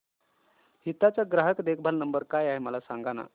हिताची चा ग्राहक देखभाल नंबर काय आहे मला सांगाना